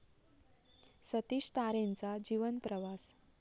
सतीश तारेंचा जीवन प्रवास